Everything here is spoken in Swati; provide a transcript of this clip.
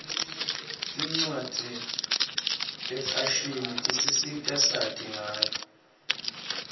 tincwadzi tefashini tisisita sati ngayo